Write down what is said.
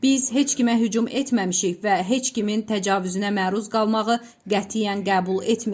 Biz heç kimə hücum etməmişik və heç kimin təcavüzünə məruz qalmağı qətiyyən qəbul etmirik.